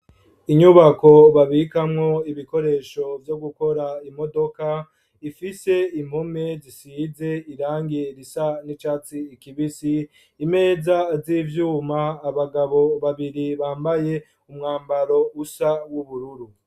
Inyubako, babikamwo ibikoresho, vyo gukora imodoka; ifise impome, zisize irangi risa n'icatsi kibisi; imeza z'ivyuma, abagabo babiri, bambaye umwambaro usa, w'ubururu.